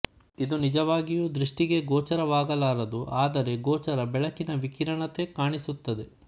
ಇದು ನಿಜವಾಗಿಯೂ ದೃಷ್ಟಿಗೆ ಗೋಚರವಾಗಲಾರದುಆದರೆ ಗೋಚರ ಬೆಳಕಿನ ವಿಕಿರಣತೆ ಕಾಣಿಸುತ್ತದೆ